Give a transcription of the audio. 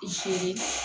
I jolen